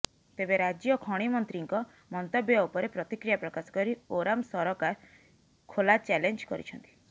ତେବେ ରାଜ୍ୟ ଖଣି ମନ୍ତ୍ରୀଙ୍କ ମନ୍ତବ୍ୟ ଉପରେ ପ୍ରତିକ୍ରିୟା ପ୍ରକାଶକରି ଓରାମ ସରକାର ଖୋଲା ଚ୍ୟାଲେଞ୍ଜ କରିଛନ୍ତି